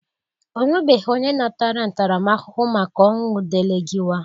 Onwebeghi onye natara ntaramahụhụ maka ọnwụ Delegịwa.